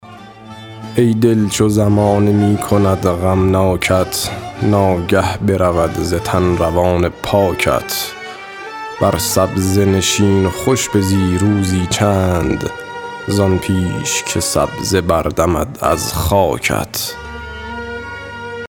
ای دل چو زمانه می کند غمناکت ناگه برود ز تن روان پاکت بر سبزه نشین و خوش بزی روزی چند زآن پیش که سبزه بردمد از خاکت